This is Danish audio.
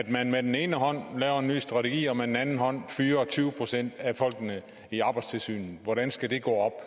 at man med den ene hånd laver en ny strategi og med den anden hånd fyrer tyve procent af folkene i arbejdstilsynet hvordan skal det gå